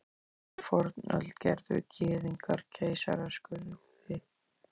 Þegar í fornöld gerðu Gyðingar keisaraskurði.